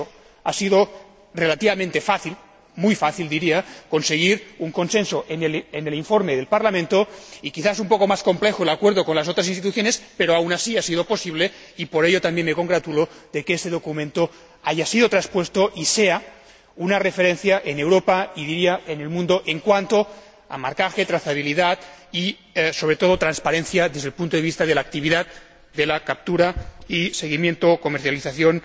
Por eso, ha sido relativamente fácil muy fácil, diría conseguir un consenso en el informe del Parlamento y, quizás un poco más complejo el acuerdo con las otras instituciones, pero aun así, ha sido posible, y por ello también me congratulo, que este documento haya sido transpuesto y sea una referencia en Europa y diría en el mundo en cuanto a marcaje, trazabilidad y, sobre todo, transparencia desde el punto de vista de la actividad de la captura y seguimiento o comercialización